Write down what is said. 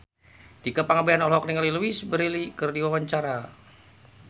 Tika Pangabean olohok ningali Louise Brealey keur diwawancara